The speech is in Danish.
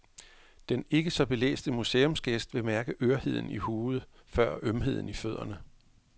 Den ikke så belæste museumsgæst vil mærke ørheden i hovedet før ømheden i fødderne.